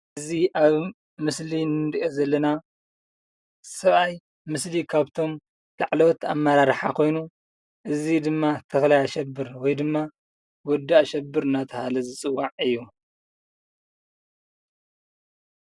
እዚ ኣብ ምስሊ እንሪኦ ዘለና ሰብኣይ ምስሊ ካብቶም ላዕለዎት ኣመራርሓ ኾይኑ እዚ ድማ ተኽላይ ኣሸብር ወይ ድማ ወዲ ኣሸብር እናተባህለ ዝፅዋዕ እዩ፡፡